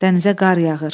Dənizə qar yağır.